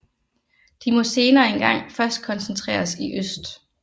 De må senere en gang først koncentreres i øst